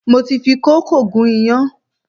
Mo ti fi kókò gún iyán